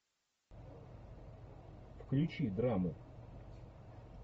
включи драму